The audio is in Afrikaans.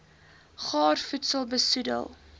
gaar voedsel besoedel